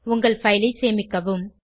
உங்கள் பைல் ஐ சேமிக்கவும்